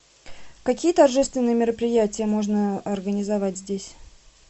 какие торжественные мероприятия можно организовать здесь